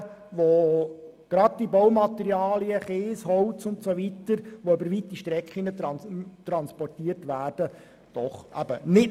Weite Transportwege für Baumaterialen sind eben nicht nachhaltig und belasten unsere Umwelt.